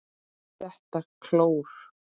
ÞETTA KLÓR!